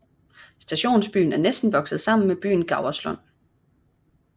Stationsbyen er næsten vokset sammen med byen Gauerslund